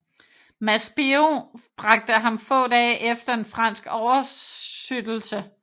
Maspero bragte ham få dage efter en fransk oversøttelse